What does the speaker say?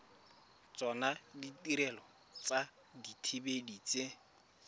tsona ditirelo tsa dithibedi tse